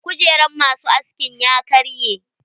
Kujeran masu askin ya karye.